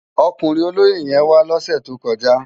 Òkúrin ólóyé yèn wá lòsè tókòjá